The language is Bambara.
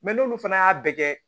Mɛ n'olu fana y'a bɛɛ kɛ